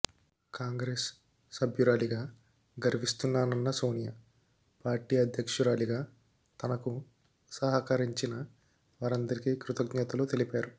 కాంగ్రెస్ సభ్యురాలిగా గర్విస్తున్నానన్న సోనియా పార్టీ అధ్యక్షురాలిగా తనకు సహకరించిన వారందరికి కృతజ్ఞతలు తెలిపారు